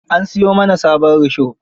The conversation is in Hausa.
An siyo mana sabon risho.